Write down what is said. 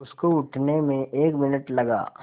उसको उठने में एक मिनट लगा